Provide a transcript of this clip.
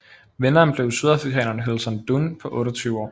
Vinderen blev sydafrikaneren Hylton Dunn på 28 år